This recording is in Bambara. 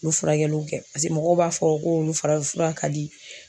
U ye furakɛliw kɛ mɔgɔw b'a fɔ ko olu farafinfura ka di